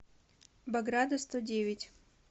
бограда сто девять